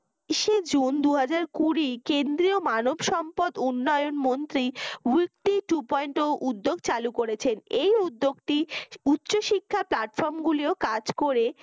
বিশ জুন দুই হাজার কুড়ি কেন্দ্রীয় মানবসম্পদ উন্নয়ন মন্ত্রী two point ও উদ্দ্যেগ চালু করেছে এই উদ্যোগটি উচ্চশিক্ষা platform গুলিও কাজ করে।